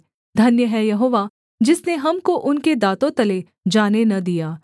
धन्य है यहोवा जिसने हमको उनके दाँतों तले जाने न दिया